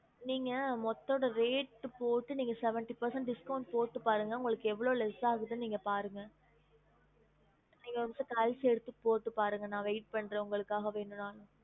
நீங்க மொத்த அதோட rate போட்டு நீங்க seventy percent discount போட்டு பாருங்க உங்களுக்கு எவ்ளோ less ஆகுதுன்னு நீங்க பாருங்க நீங்க ஒரு நிமிஷம் calci எடுத்து போட்டு பாருங்க நான் wait பண்றேன் உங்களுக்காக வேணும்னாலும்